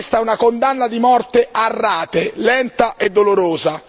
Questa è una condanna di morte a rate, lenta e dolorosa.